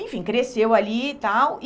Enfim, cresceu ali e tal.